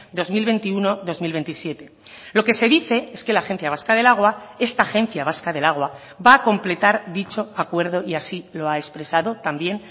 dos mil veintiuno dos mil veintisiete lo que se dice es que la agencia vasca del agua esta agencia vasca del agua va a completar dicho acuerdo y así lo ha expresado también